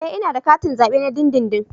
Ee ina da katin zabe na dindindin